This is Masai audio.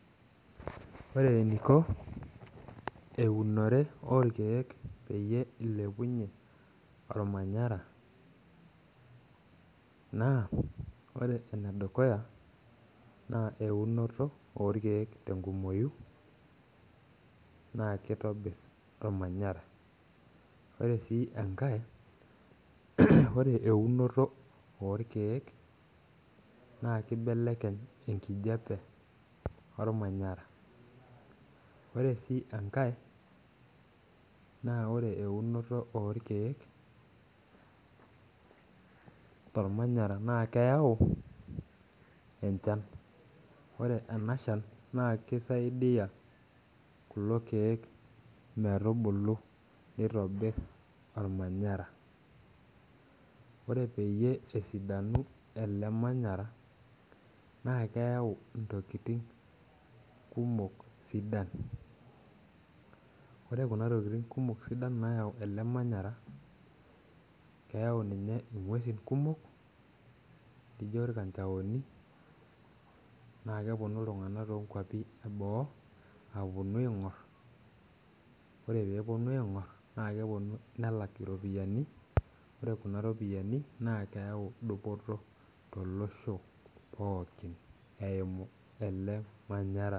Ore eniko eunore orkiek pekilepunye ormanyara naore enedukuya na eunoto orkiek tenkumoyu na kitobir ormanyara ore enkilepunye orkiek na kilepunye enkijape ormanyara ore si enkae na ore eunoto orkiek tormananyara na keyau enchan ore enashan na kisaidia kulo kiek metubulu nitobir ormanyara ore pesidanu elee manyara na keyau ntokitin sidan ore ntokitin sidan nayau ele manyara na keyau ngwesi kumok nijo rkanjaoni na keponu ltunganak leboo aponu aingoro na eneponu ltunganak le boo nelak iropiyiani na ore kuna ropiyani na keyau biotisho tolosho pookin eimu ele manyara.